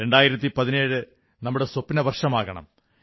2017 നമ്മുടെ സ്വപ്നവർഷമാകണം